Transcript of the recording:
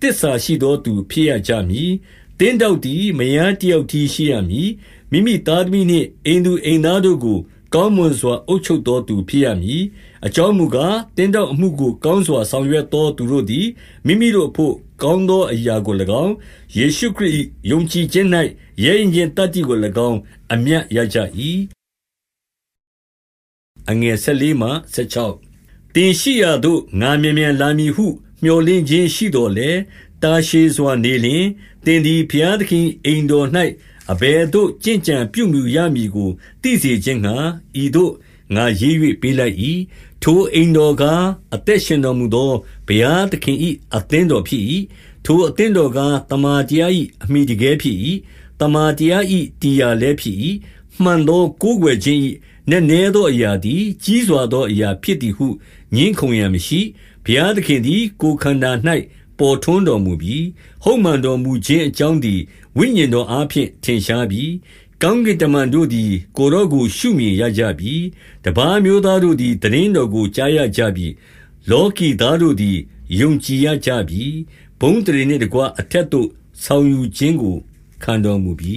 သစ္စာရှိသောသူဖြစ်ရကြမည်။ 12 သင်းထောက်သည် မယားတယောက်တည်းရှိရမည်။ မိမိသားသမီးနှင့် အိမ်သူအိမ်သားတို့ကို ကောင်းမွန်စွာ အုပ်ချုပ်သောသူဖြစ်ရမည်။ 13 အကြောင်းမူကား၊ သင်းထောက်အမှုကို ကောင်းစွာရွက်ဆောင်သော သူတို့သည် မိမိတို့အဘို့ ကောင်းသောအရာကို၎င်း၊ ယေရှုခရစ်၏ ယုံကြည်ခြင်း၌ ရဲရင့်ခြင်းသတ္တိကို၎င်း အမြတ်ရကြ၏။ 14 သင်ရှိရာသို့ငါမြန်မြန်လာမည်ဟု မြော်လင့်ခြင်းရှိသော်လည်း တာရှည်စွာနေလျှင်၊ သင်သည် ဘုရားသခင်၏အိမ်ထောင်၌ အဘယ်သို့ကျင့်ကြံပြုမူရမည်ကို သိစေခြင်းငှါ ဤသို့ငါရေး၍ ပေးလိုက်၏။ ထိုအိမ်တော်ကား၊ အသက်ရှင်တော်မူသော ဘုရားသခင်၏အသင်းတော်ဖြစ်၏။ 15 ထိုအသင်းတော်ကား၊ သမ္မာတရား၏ အမှီတကဲဖြစ်၏။ သမ္မာတရား၏ တည်ရာလည်းဖြစ်၏။ 16 မှန်သောကိုးကွယ်ခြင်း၏ နက်နဲသောအရာသည် ကြီးစွာသောအရာဖြစ်သည်ဟု ငြင်းခုံရန်မရှိ။ ဘုရားသခင်သည် ကိုယ်ခန္ဓာ၌ ပေါ်ထွန်းတော်မူပြီ။ ဟုတ်မှန်တော်မူခြင်းအကြောင်းသည် ဝိညာဉ်တော်အား ဖြင့် ထင်ရှားပြီ။ ကောင်းကင်တမန်တို့သည် ကိုယ်တော်ကို ရှုမြင်ရကြပြီ။ တပါးအမျိုးသားတို့သည် သိတင်းတော်ကို ကြားရကြပြီ။ လောကီသားတို့သည် ယုံကြည်ရကြပြီ။ ဘုန်းအသရေနှင့်တကွ အထက်သို့ ဆောင်ယူခြင်းကို ခံတော်မူပြီ